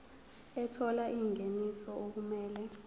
ethola ingeniso okumele